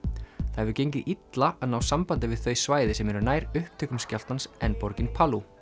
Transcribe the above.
það hefur gengið illa að ná sambandi við þau svæði sem eru nær upptökum skjálftans en borgin